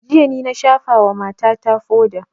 Jiya ni na shafa wa mata ta foda